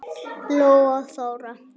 Lóa og Þóra.